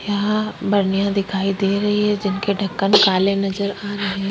यहाँ बर्निया दिखाई दे रही है जिनके ढक्कन काले नजर आ रहे--